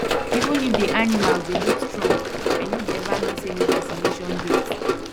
even if the animals dey look strong i no dey ever miss any vaccination date